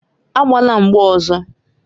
Agbala mgba ọzọ!